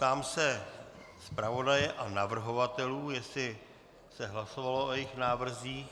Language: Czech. Ptám se zpravodaje a navrhovatelů, jestli se hlasovalo o jejich návrzích.